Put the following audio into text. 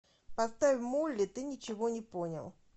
поставь молли ты ничего не понял